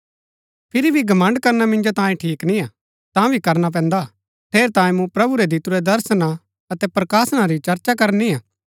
फिरी भी घमण्ड़ करना मिन्जो तांयें ठीक निय्आ तांभी करना पैन्दा ठेरैतांये मूँ प्रभु रै दितुरै दर्शना अतै प्रकाशना री चर्चा करनिआ